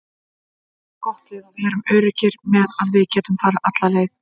Við erum gott lið og við erum öruggir með að við getum farið alla leið.